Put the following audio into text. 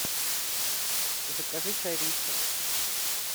закажи чай ристон